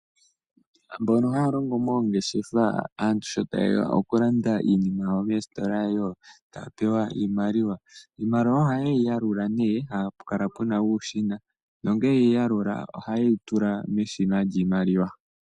Aantu mbono haya longo moongeshefa, aantu sho tayeya oku landa iinima yawo moositola, yo taya pewa iimaliwa, iimaliwa ohayeyi yalula ne apukala pena uushina, nongele yeyi yalula ohayeyi tula meshina lyiimaliwa.